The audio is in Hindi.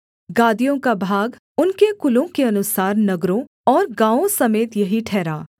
गादियों का भाग उनके कुलों के अनुसार नगरों और गाँवों समेत यही ठहरा